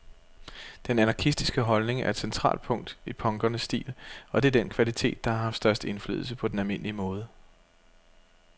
Den anarkistiske holdning er et centralt punkt i punkernes stil, og det er den kvalitet, der har haft størst indflydelse på den almindelige mode.